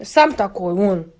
сам такой вон